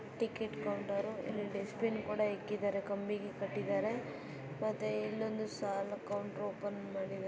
Ticket counter ಬೆಸ್ಟ್ ಪಿನ್ ಕೂಡ ಇಟ್ಟಿದ್ದಾರೆ ಕಂಬಿಗೆ ಕಟ್ಟಿದರೆ ಮತ್ತೆ ಇನ್ನೊಂದು ಸಾಲು ಕೌಂಟ್ರು ಓಪನ್ಮಾ ಡಿದರೆ.